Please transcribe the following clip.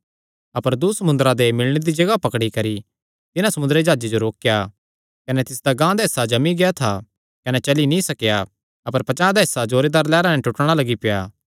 अपर दूँ समुंदरा दे मिलणे दी जगाह पकड़ी करी तिन्हां समुंदरी जाह्जे जो रोकेया कने तिसदा गांह दा हिस्सा जमी गेआ था कने चली नीं सकेया अपर पचांह़ दा हिस्सा जोरदार लैहरां नैं टूटणा लग्गी पेआ